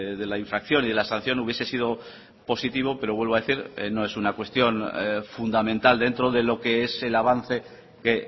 de la infracción y de la sanción hubiese sido positivo pero vuelvo a decir no es una cuestión fundamental dentro de lo que es el avance que